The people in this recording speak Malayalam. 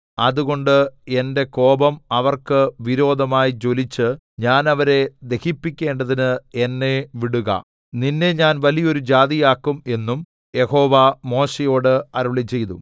അതുകൊണ്ട് എന്റെ കോപം അവർക്ക് വിരോധമായി ജ്വലിച്ച് ഞാൻ അവരെ ദഹിപ്പിക്കേണ്ടതിന് എന്നെ വിടുക നിന്നെ ഞാൻ വലിയൊരു ജാതിയാക്കും എന്നും യഹോവ മോശെയോട് അരുളിച്ചെയ്തു